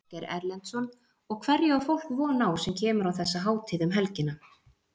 Ásgeir Erlendsson: Og hverju á fólk von á sem kemur á þessa hátíð um helgina?